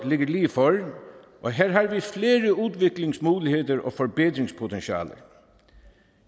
ligger lige for og her har vi flere udviklingsmuligheder og forbedringspotentialer